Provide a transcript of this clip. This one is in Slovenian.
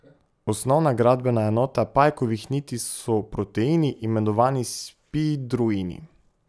Osnovna gradbena enota pajkovih niti so proteini, imenovani spidroini.